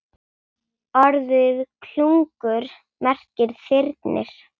Orðið klungur merkir þyrnir.